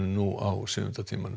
nú á sjöunda tímanum